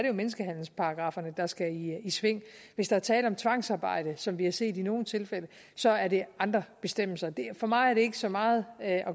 jo menneskehandelsparagrafferne der skal i sving hvis der er tale om tvangsarbejde som vi har set i nogle tilfælde så er der andre bestemmelser for mig har det ikke så meget at